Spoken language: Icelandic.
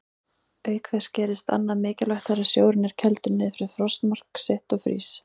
Auk þess gerist annað mikilvægt þegar sjórinn er kældur niður fyrir frostmark sitt og frýs.